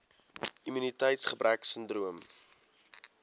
immuniteits gebrek sindroom